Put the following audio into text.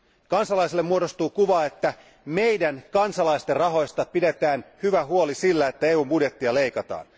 Kansalaisille muodostuu kuva, että meidän, kansalaisten, rahoista pidetään hyvä huoli sillä, että EUn budjettia leikataan.